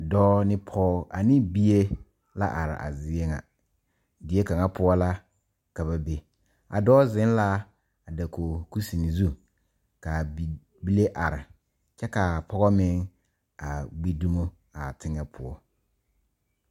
Dɔɔ ne pɔgɔ, ne bie la are a zie ŋa. Die kanga poʊ la ka ba be. A dɔɔ zeŋ la a dakoge kusen zu. Ka a bibile are kyɛ ka a pɔgɔ meŋ a gbi dumo a teŋe poʊ.